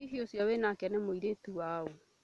Hihi ũcio wĩ nake nĩ mũirĩtu waũ?